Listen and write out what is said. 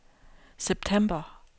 september